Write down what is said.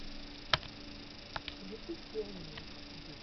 ютуб пионер диджей тэвэ видеокомпиляция